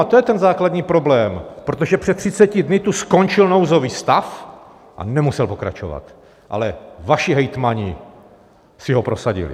A to je ten základní problém, protože před 30 dny tu skončil nouzový stav a nemusel pokračovat, ale vaši hejtmani si ho prosadili!